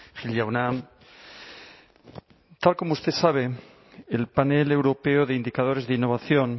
gil jauna tal como usted sabe el panel europeo de indicadores de innovación